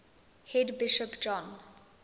head bishop john